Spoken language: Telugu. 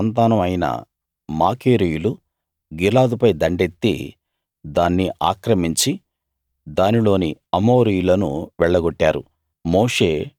మనష్షే సంతానం అయిన మాకీరీయులు గిలాదుపై దండెత్తి దాన్ని ఆక్రమించి దానిలోని అమోరీయులను వెళ్లగొట్టారు